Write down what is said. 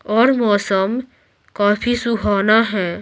और मौसम काफी सुहाना है।